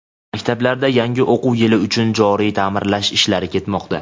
Maktablarda yangi o‘quv yili uchun joriy taʼmirlash ishlari ketmoqda.